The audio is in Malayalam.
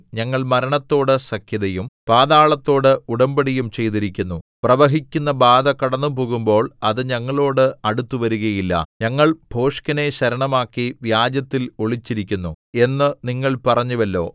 ഞങ്ങൾ മരണത്തോട് സഖ്യതയും പാതാളത്തോട് ഉടമ്പടിയും ചെയ്തിരിക്കുന്നു പ്രവഹിക്കുന്ന ബാധ കടന്നുപോകുമ്പോൾ അത് ഞങ്ങളോട് അടുത്തു വരികയില്ല ഞങ്ങൾ ഭോഷ്കിനെ ശരണമാക്കി വ്യാജത്തിൽ ഒളിച്ചിരിക്കുന്നു എന്നു നിങ്ങൾ പറഞ്ഞുവല്ലോ